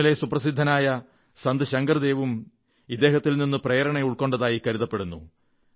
അസമിലെ സുപ്രസിദ്ധനായ സന്ത് ശങ്കർദേവും ഇദ്ദേഹത്തിൽ നിന്ന് പ്രേരണ ഉൾക്കൊണ്ടതായി കരുതപ്പെടുന്നു